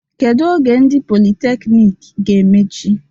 Kedu oge ndị politekniiki ge-emech?